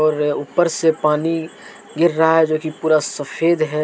रहा है। ऊपर से पानी गिर रहा है जोकि पूरा सफेद है।